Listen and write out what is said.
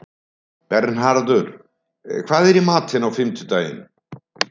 Bernharður, hvað er í matinn á fimmtudaginn?